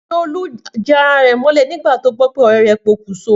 Níse ni Olú jan ara rè mólè nígbà tó gbó pe òré rè pokùnso